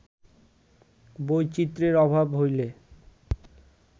বৈচিত্র্যের অভাব হইলে